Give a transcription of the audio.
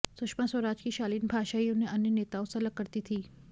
सुषमा स्वराज की शालीन भाषा ही उन्हें अन्य नेताओं से अलग करती थी